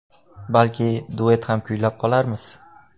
Balki, duet ham kuylab qolarmiz.